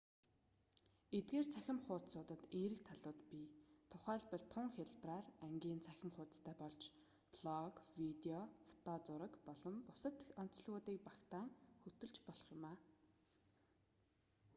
эдгээр цахим хуудсуудад эерэг талууд бий тухайлбал тун хялбараар ангийн цахим хуудсастай болж блог видео фото зураг мөн бусад онцлогуудыг багтаан хөтлөж болох юм